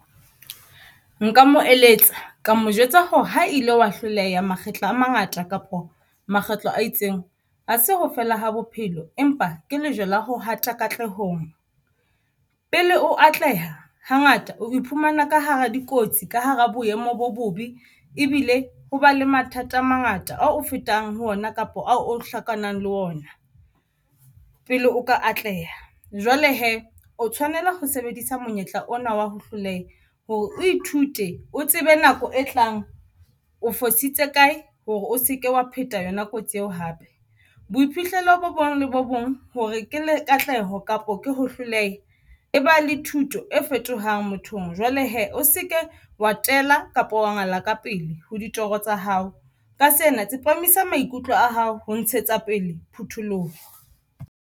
Nka mo eletsa ka mo jwetsa hore ha ile wa hloleha makgetlo a mangata kapo makgetlo a itseng ha se ho fela ha bophelo empa ke lejwe la ho hata katlehong, pele o atleha hangata o iphumana ka hara dikotsi ka hara boemo bo bobe ebile ho ba le mathata a mangata ao o fetang ho ona kapa ao o hlokanang le ona pele o ka atleha. Jwale hee o tshwanela ho sebedisa monyetla ona wa ho hloleha hore o ithute o tsebe nako e tlang. O fositse kae hore o seke wa pheta yona kotsi eo hape. Boiphihlelo bo bong le bo bong hore ke le katleho kapo ke ho hloleha e ba le thuto e fetohang mothong jwale hee o seke wa tela kapo wa ngala ka pele ho ditoro tsa hao, ka sena tsepamisa maikutlo a hao ho ntshetsa pele phutholoha.